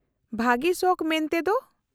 -ᱵᱷᱟᱹᱜᱤ ᱥᱚᱠᱷ ᱢᱮᱱᱛᱮ ᱫᱚ ?